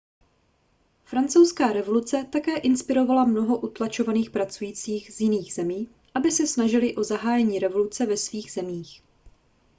francouzská revoluce také inspirovala mnoho utlačovaných pracujících z jiných zemí aby se snažili o zahájení revoluce ve svých zemích